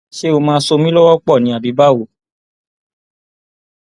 ṣé ó máa ṣọ mi lọwọ pọ ni àbí báwo